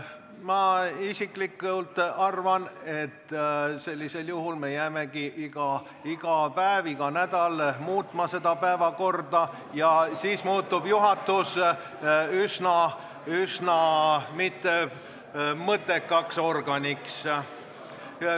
Mina isiklikult arvan, et sellisel juhul me jäämegi iga päev ja iga nädal päevakorda muutma ja siis muutub juhatus üsna mõttetuks organiks.